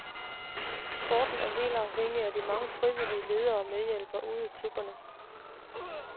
Sporten er helt afhængig af de mange frivillige ledere og medhjælpere ude i klubberne.